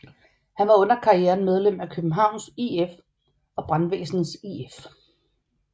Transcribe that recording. Han var under karrieren medlem af Københavns IF og Brandvæsenets IF